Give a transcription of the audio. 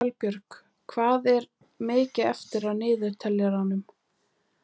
Salbjörg, hvað er mikið eftir af niðurteljaranum?